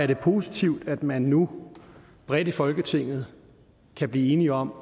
det positivt at man nu bredt i folketinget kan blive enige om